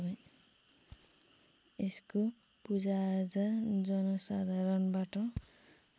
यसको पूजाआजा जनसाधारणबाट